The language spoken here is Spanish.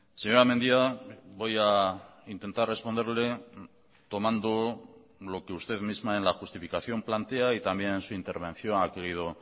señora mendia voy a intentar responderle tomando lo que usted misma en la justificación plantea y también en su intervención ha querido